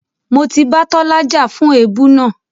Mo ti bá Tọ́lá jà fún èébú náà.